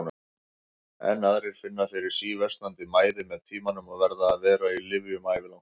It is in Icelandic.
Enn aðrir finna fyrir síversnandi mæði með tímanum og verða að vera á lyfjum ævilangt.